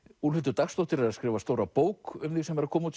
Úlfhildur Dagsdóttir er að skrifa stóra bók um þig sem er að koma út